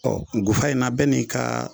ngufa in na bɛɛ n'i kaa